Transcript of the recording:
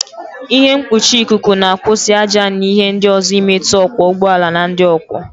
Ịhe mkpuchi ikuku na-akwụsị ájá na ịhe ndị ọzọ imetụ ọkwọ ụgbọala na ndị ọ kwọ.